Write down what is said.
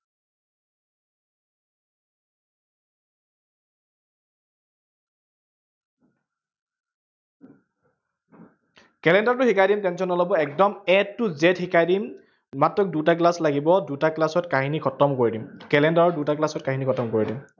calender টো শিকাই দিম, tension নলব, একদম a to z শিকাই দিম। মাত্ৰ দুটা class লাগিব, দুটা class ত কাহিনী খতম কৰি দিম। calender ৰ দুটা class ত কাহিনী খতম কৰি দিম।